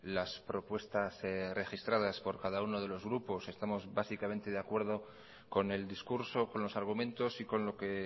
las propuestas registradas por cada uno de los grupos estamos básicamente de acuerdo con el discurso con los argumentos y con lo que